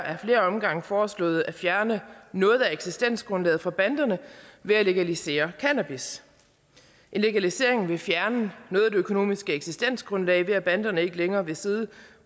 omgange foreslået at fjerne noget af eksistensgrundlaget for banderne ved at legalisere cannabis en legalisering ville fjerne noget af det økonomiske eksistensgrundlag ved at banderne ikke længere ville sidde